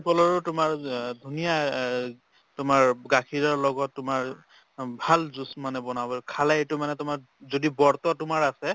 ভীম কলৰ তোমাৰ ধুনীয়া আ তোমাৰ গাখীৰৰ লগত তোমাৰ অ ভাল juice মানে বনাব খালে এইটো মানে তোমৰ যদি বৰ্তʼ তোমাৰ আছে